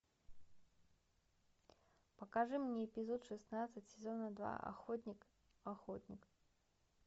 покажи мне эпизод шестнадцать сезона два охотник охотник